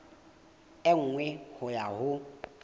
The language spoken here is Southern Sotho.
e nngwe ho ya ho